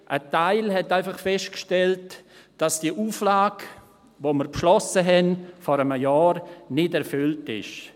Ein Teil stellte einfach fest, dass die Auflage, die wir vor einem Jahr beschlossen hatten, nicht erfüllt ist.